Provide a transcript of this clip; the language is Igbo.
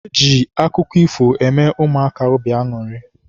E ji akụkọ ifo eme ụmụaka obi aṅụrị.